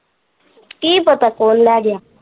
ਕੀ ਪਤਾ ਕੋਣ ਲੈ ਗਿਆ?